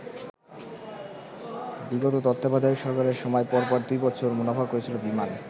বিগত তত্ত্বাবধায়ক সরকারের সময় পরপর দুই বছর মুনাফা করেছিল বিমান।